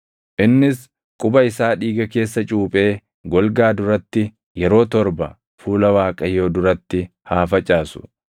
Innis quba isaa dhiiga keessa cuuphee golgaa duratti yeroo torba fuula Waaqayyoo duratti haa facaasu.